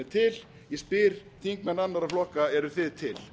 til ég spyr þingmenn annarra flokka eruð þið til